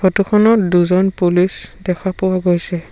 Photo খনত দুজন police দেখা পোৱা গৈছে।